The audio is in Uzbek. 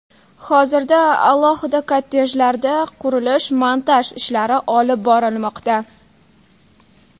Hozirda alohida kottejlarda qurilish-montaj ishlari olib borilmoqda.